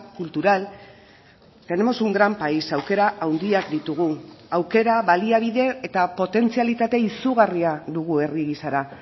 cultural tenemos un gran país aukera handiak ditugu aukera baliabide eta potentzialitate izugarria dugu herri gisara